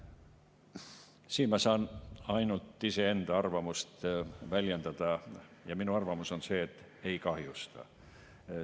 Siin ma saan ainult iseenda arvamust väljendada ja minu arvamus on, et ei kahjusta.